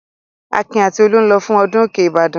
Akin àti Olú ń lọ fún ọdún òkè Ìbàdàn.